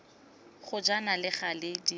ga jaana le gale di